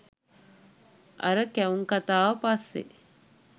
අර කැවුම් කතාව පස්සේ